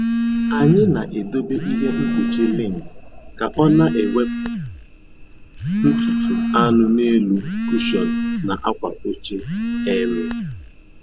Anyị na-edobe ihe mkpuchi lint ka ọ ọ na-ewepụ ntutu anụ n’elu kụshọn na akwa oche. um